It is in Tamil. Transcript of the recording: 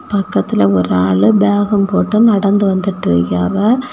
பக்கத்துல ஒரு ஆளு பேகும் போட்டு நடந்து வந்துட்டு இருக்கியாவ.